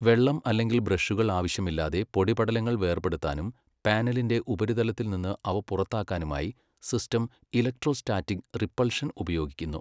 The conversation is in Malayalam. വെള്ളം അല്ലെങ്കിൽ ബ്രഷുകൾ ആവശ്യമില്ലാതെ, പൊടിപടലങ്ങൾ വേർപെടുത്താനും പാനലിന്റെ ഉപരിതലത്തിൽ നിന്ന് അവ പുറത്താക്കാനുമായി സിസ്റ്റം ഇലക്ട്രോസ്റ്റാറ്റിക് റിപ്പൾഷൻ ഉപയോഗിക്കുന്നു.